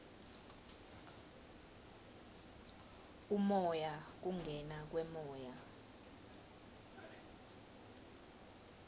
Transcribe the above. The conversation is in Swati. umoya kungena kwemoya